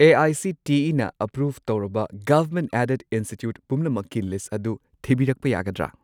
ꯑꯦ.ꯑꯥꯏ.ꯁꯤ.ꯇꯤ.ꯏ.ꯅ approve ꯇꯧꯔꯕ government aided institute ꯄꯨꯝꯅꯃꯛꯀꯤ list ꯑꯗꯨ ꯊꯤꯕꯤꯔꯛꯄ ꯌꯥꯒꯗ꯭ꯔꯥ?